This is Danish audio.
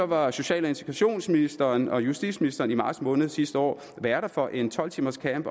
var social og integrationsministeren og justitsministeren i marts måned sidste år værter for en tolv timers camp